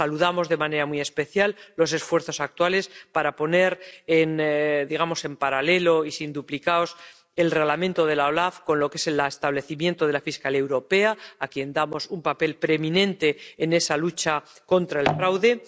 Saludamos de manera muy especial los esfuerzos actuales para poner en paralelo y sin duplicados el Reglamento de la OLAF con el establecimiento de la Fiscalía Europea, a quien damos un papel preeminente en esa lucha contra el fraude.